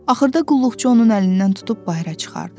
Axırda qulluqçu onun əlindən tutub bayıra çıxartdı.